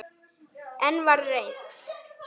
Enn var reynt.